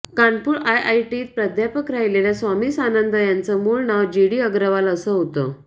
कानपूर आयआयटीत प्राध्यापक राहिलेल्या स्वामी सानंद यांचं मुळ नाव जीडी अग्रवाल असं होतं